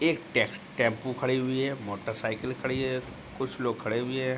एक टेम्पू खड़ी हुई है मोटर साइकिल खड़ी है कुछ लोग खड़े भी हैं।